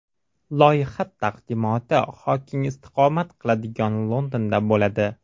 Loyiha taqdimoti Xoking istiqomat qiladigan Londonda bo‘ladi.